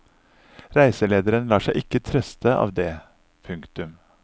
Reiselederen lar seg ikke trøste av det. punktum